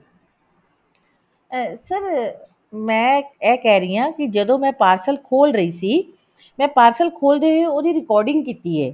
ਅਹ sir ਮੈਂ ਇਹ ਕਹਿ ਰਹੀ ਹਾਂ ਕਿ ਜਦੋਂ ਮੈਂ parcel ਖੋਲ ਰੀ ਸੀ ਮੈਂ parcel ਖੋਲਦੇ ਹੋਏ ਉਹਦੀ recording ਕੀਤੀ ਐ